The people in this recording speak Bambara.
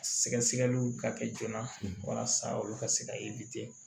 Sɛgɛsɛgɛliw ka kɛ joona walasa olu ka se ka